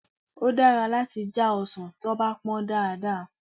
Ó dára láti já ọsàn tí wọ́n bá pọ́n dáadáa.